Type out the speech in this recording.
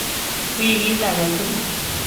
Wigit agetugul.